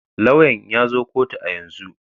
Lauyan ya zo kotu a yanzu.